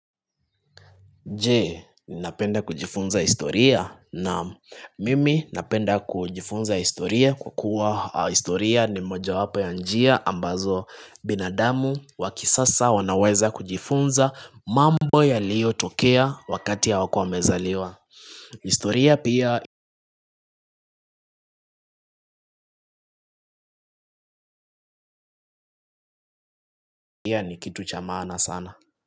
Je, ni napenda kujifunza historia naam mimi napenda kujifunza historia kukua historia ni moja wapo ya njia ambazo binadamu wa kisasa wanaweza kujifunza mambo yaliyotokea wakati ya hawakua wamezaliwa. Historia pia ni kitu cha maana sana.